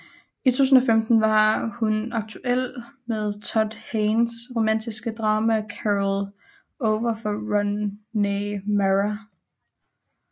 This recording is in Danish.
I 2015 var hun aktuel med Todd Haynes romantiske drama Carol over for Rooney Mara